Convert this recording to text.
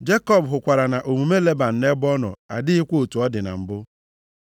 Jekọb hụkwara na omume Leban nʼebe ọ nọ adịghịkwa otu ọ dị na mbụ.